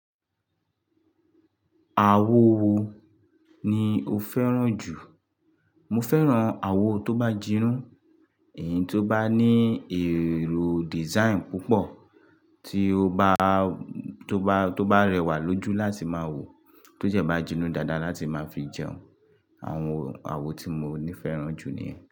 Àwo wo ni o fẹ́ràn jù? Mo fẹ́ràn àwo tó bá jinú, èyí tó bá ní èrò design púpọ̀, tí ó bá, tó bá, tó bá rẹwà lójú láti má wò, tó dẹ má jinu dáadáa láti má fi jẹun. Àwọn àwo tí mo ní fẹ́ràn jù ni.